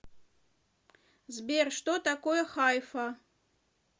сбер что такое хайфа